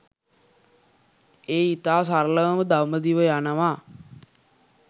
එය ඉතා සරලවම දඹදිව යනවා